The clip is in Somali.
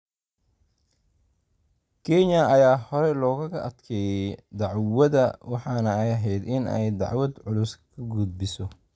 Kenya ayaa hore loogaga adkaaday dacwada, waxaana ay ahayd in ay dacwad culus ka gudbiso.